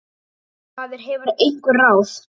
En maður hefur einhver ráð.